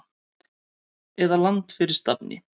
eða Land fyrir stafni!